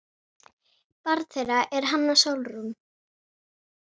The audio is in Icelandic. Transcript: Barn þeirra er Hanna Sólrún.